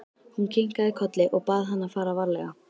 Hún kinkaði kolli og bað hann að fara varlega.